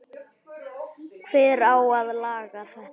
Hver á að laga þetta?